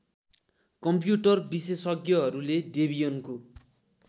computer विशेषज्ञहरूले डेबियनको